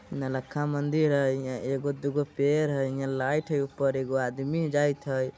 नौलखा मंदिर है एगो - दुगो पेड़ है लाइट है ऊपर ईगो आदमी जाहिद है।